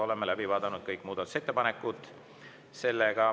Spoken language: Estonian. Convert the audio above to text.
Oleme läbi vaadanud kõik muudatusettepanekud.